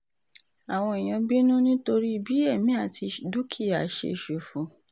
àwọn èèyàn bínú nítorí um bí èmi àti dúkìá ṣe ṣòfò